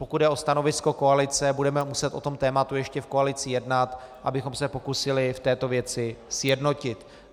Pokud jde o stanovisko koalice, budeme muset o tomto tématu ještě v koalici jednat, abychom se pokusili v této věci sjednotit.